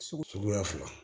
Sugu suguya fila